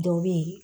Dɔ be yen